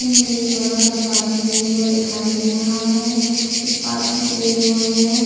मुझे एक बड़ा सा पार्किंग एरिया दिखाई दे रहा है उस पार्किंग एरिया मे--